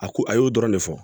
A ko a y'o dɔrɔn ne fɔ